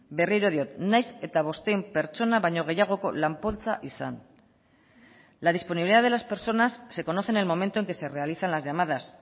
berriro diot nahiz eta bostehun pertsona baino gehiagoko lan poltsa izan la disponibilidad de las personas se conoce en el momento en que se realizan las llamadas